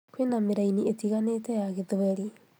kwĩna mĩraini ĩtĩganĩte ya gĩthweri